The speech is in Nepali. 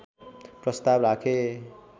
प्रस्ताव राखे